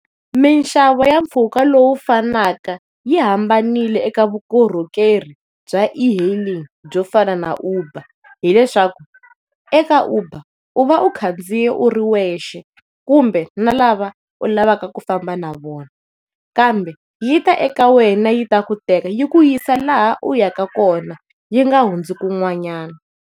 Minxavo ya mpfhuka lowu finaka yi hambanile eka vukorhokeri bya e-hailing byo fana na Uber hileswaku eka Uber u va u khandziyile u ri wexe, kumbe na lava u lavaka ku famba na vona kambe yi ta eka wena yi ta ku teka yi ku yisa laha uyaka kona yi nga hundzi kun'wanyana.